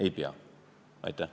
Ei pea!